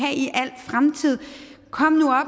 det i al fremtid kom nu